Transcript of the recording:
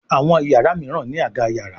Àwọn iyàrá míràn ní Àga yàrá.